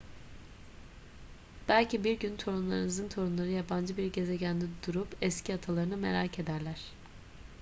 belki bir gün torunlarınızın torunları yabancı bir gezegende durup eski atalarını merak ederler